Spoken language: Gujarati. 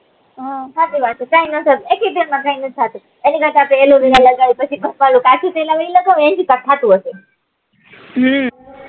સાચ્ચી વાત છે કઈ નાત થતું એક એક જન માં કઈ નાત થતું એની કરતા પછી ભપકા વાળું કાચું તેલ આવે એ લગાડો એન થી કાક થતું હશે હમ